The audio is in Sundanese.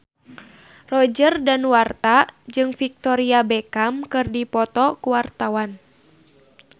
Roger Danuarta jeung Victoria Beckham keur dipoto ku wartawan